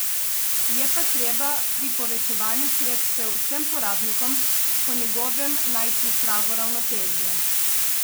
Je pa treba pri povečevanju sredstev vsem porabnikom po njegovem najti pravo ravnotežje.